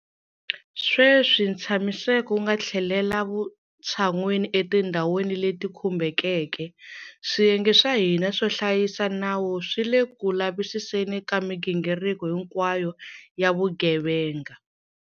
Sweswi ntshamiseko wu nga tlhelela vutshan'wini etindhwani leti khumbekeke, swiyenge swa hina swo hlayisa nawu swi le ku lavisiseni ka migingiriko hinkwayo ya vugevenga.